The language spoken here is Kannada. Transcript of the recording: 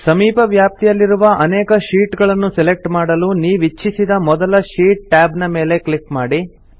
ಸಮೀಪ ವ್ಯಾಪ್ತಿಯಲ್ಲಿರುವ ಅನೇಕ ಶೀಟ್ ಗಳನ್ನು ಸೆಲೆಕ್ಟ್ ಮಾಡಲು ನೀವಿಚ್ಛಿಸಿದ ಮೊದಲ ಶೀಟ್ ಟ್ಯಾಬ್ ನ ಮೇಲೆ ಕ್ಲಿಕ್ ಮಾಡಿ